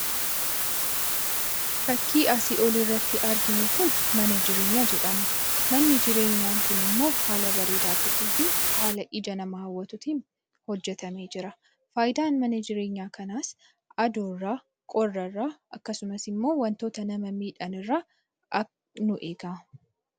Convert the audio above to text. Fakkii asii olii irratti arginu kun mana jireenyaa jedhama. Manni jireenyaa kun immoo haala bareedaa ta'eetiin, haala ija nama hawwatuutiin hojjetamee jira. Faayidaan mana jireenyaa kanaas aduurraa, qorra irraa akkasumas immoo wantoota nama miidhan irraa nu eega.